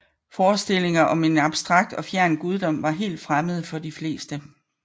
Forestillinger om en abstrakt og fjern guddom var helt fremmede for de fleste